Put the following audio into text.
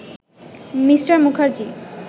Me. Mukherjee